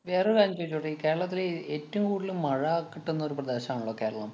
വേറൊരു കാര്യം ചോദിച്ചോട്ടേ. ഈ കേരളത്തില് ഏറ്റവും കൂടുതല്‍ മഴ കിട്ടുന്നൊരു പ്രദേശമാണല്ലോ കേരളം.